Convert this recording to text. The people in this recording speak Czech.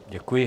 Děkuji.